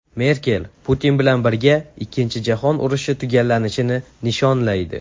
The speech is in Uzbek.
Merkel Putin bilan birga Ikkinchi jahon urushi tugallanishini nishonlaydi.